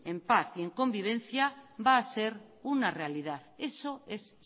en paz y en convivencia va a ser una realidad eso es